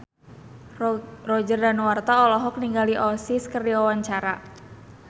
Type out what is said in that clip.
Roger Danuarta olohok ningali Oasis keur diwawancara